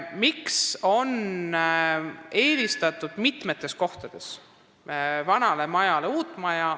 Miks on mitmes kohas vanale majale eelistatud uut maja?